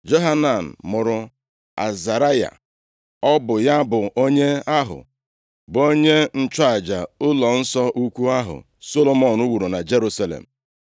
Johanan mụrụ Azaraya ọ bụ ya bụ onye ahụ bụ onye nchụaja ụlọnsọ ukwu ahụ Solomọn wuru na Jerusalem.